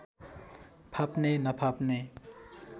फाप्ने नफाप्ने